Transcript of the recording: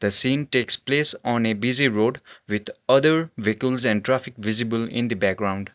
the scene takes place on a busy road with other vehicles and traffic visible in the background.